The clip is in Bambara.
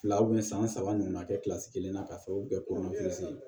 Fila san saba ɲɔgɔn na kɛ kelen na ka sababu kɛ ye